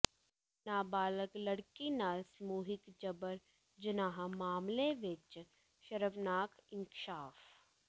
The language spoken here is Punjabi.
ਨਾਬਾਲਗ ਲੜਕੀ ਨਾਲ ਸਮੂਹਿਕ ਜਬਰ ਜਨਾਹ ਮਾਮਲੇ ਵਿਚ ਸ਼ਰਮਨਾਕ ਇੰਕਸ਼ਾਫ਼